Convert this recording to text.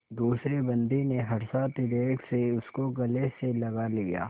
दूसरे बंदी ने हर्षातिरेक से उसको गले से लगा लिया